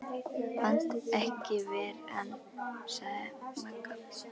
Pant ekki ver ann, sagði Magga.